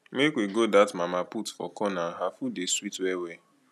make we go dat mama put for corner her food dey sweet wellwell